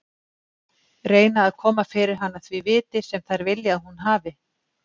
Reyna að koma fyrir hana því viti sem þær vilja að hún hafi.